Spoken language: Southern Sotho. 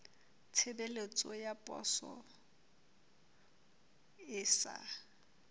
tshebeletso ya poso e sa